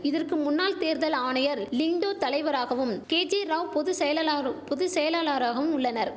இதற்கு முன்னாள் தேர்தல் ஆணையர் லிங்டோ தலைவராகவும் கேஜேராவ் பொது செயலலாரு பொது செயலலாளராகவும் உள்ளனர்